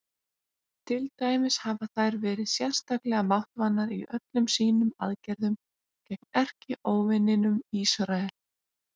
Til dæmis hafa þær verið sérstaklega máttvana í öllum sínum aðgerðum gegn erkióvininum Ísrael.